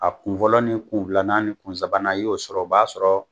A kun fɔlɔ ni kun filana ni kun sabana i y'o sɔrɔ o b'a sɔrɔ